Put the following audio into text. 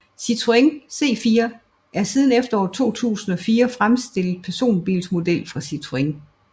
Citroën C4 er en siden efteråret 2004 fremstillet personbilsmodel fra Citroën